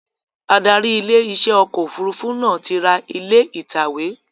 Adarí ilé iṣẹ́ ọkọ̀ òfurufú náà ti ra ilé ìtàwé